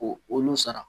Ko olu sara